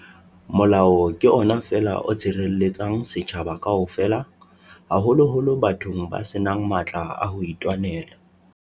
Molao ke ona feela o tshirelle-tsang setjhaba kaofela, haholoholo bathong ba senang matla a hoitwanela.